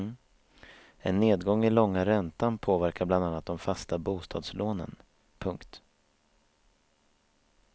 En nedgång i långa räntan påverkar bland annat de fasta bostadslånen. punkt